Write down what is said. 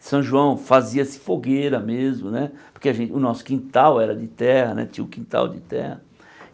São João fazia-se fogueira mesmo né, porque a gen o nosso quintal era de terra né, tinha o quintal de terra.